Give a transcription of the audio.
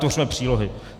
Tvořme přílohy.